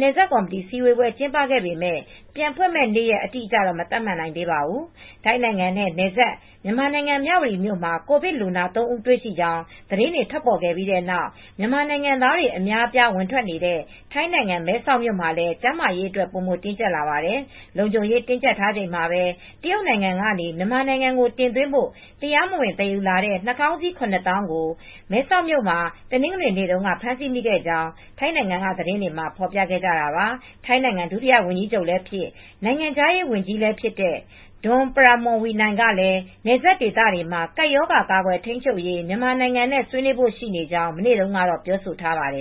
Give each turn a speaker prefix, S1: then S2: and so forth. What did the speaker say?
S1: နယ်စပ်ကော်မတီအစည်းဝေး ကျင်းပခဲ့ပေမယ့် ပြန်ဖွင့်မယ့် နေ့ရက် အတိအကျတော့ မသတ်မှတ်နိုင်သေးပါဘူး။ ထိုင်းနိုင်ငံနဲ့ နယ်စပ် မြန်မာနိုင်ငံ မြဝတီမြို့မှာ ကိုဗစ်လူနာ ၃ ဦး တွေ့ရှိကြောင်း သတင်းတွေ ထွက်ပေါ်လာပြီးနောက် မြန်မာနိုင်ငံသားတွေ အများအပြား ဝင်ထွက်နေတဲ့ ထိုင်းနိုင်ငံ မဲဆောက်မြို့မှာလည်း ကျန်းမာရေးအတွက် ပိုမိုတင်းကြပ်လာနေပါတယ်။ လုံခြုံရေး တင်းကြပ်ထားချိန်မှာပဲ တရုတ်နိုင်ငံကနေ မြန်မာနိုင်ငံကို တင်သွင်းဖို့ တရားမဝင်သယ်ယူလာတဲ့ နှာခေါင်းစည်း ၇၀,၀၀၀ ကို မဲဆောက်မှာ တနင်္ဂနွေနေ့တုန်းက ဖမ်းဆီးမိခဲ့ကြောင်းလည်း ထိုင်းနိုင်ငံက သတင်းတွေမှာ ဖော်ပြခဲ့ကြတာပါ။ ထိုင်းနိုင်ငံ ဒုတိယဝန်ကြီးချုပ်လည်းဖြစ် နိုင်ငံခြားရေးဝန်ကြီးလည်းဖြစ်တဲ့ Don Pramudwinai ကလည်း နယ်စပ်ဒေသမှာ ကပ်ရောဂါကာကွယ်ထိန်းချုပ်ရေး မြန်မာနိုင်ငံနဲ့ ဆွေးနွေးဖို့ရှိကြောင်း မနေ့တုန်းကပဲ ပြောဆိုထားပါတယ်